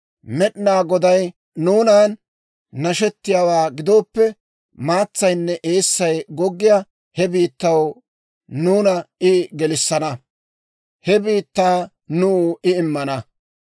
Med'inaa Goday nuunan nashettiyaawaa gidooppe, maatsaynne eessay goggiyaa he biittaw nuuna I gelissana; he biittaa nuw I immana.